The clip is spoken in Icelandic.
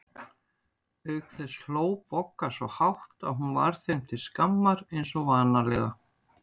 Auk þess hló Bogga svo hátt að hún varð þeim til skammar eins og vanalega.